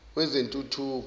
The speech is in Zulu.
wezentuthuko